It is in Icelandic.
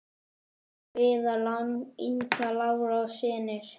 Viðar, Inga Lára og synir.